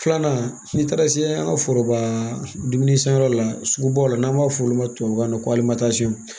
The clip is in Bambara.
Filanan n'i taara se an ka foroba dumuni sanyɔrɔ la sugu baw la n'an b'a fɔ olu ma tubabukan na ko halisa